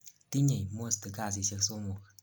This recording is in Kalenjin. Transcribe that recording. tinyei most kasisiek somok